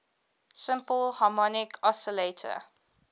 simple harmonic oscillator